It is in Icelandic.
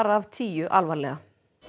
af tíu alvarlega